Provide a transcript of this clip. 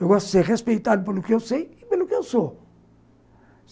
Eu gosto de ser respeitado pelo que eu sei e pelo que eu sou.